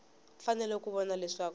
fanele ku va kona leswaku